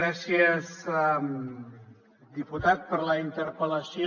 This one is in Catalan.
gràcies diputat per la interpel·lació